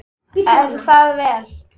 Er það vel!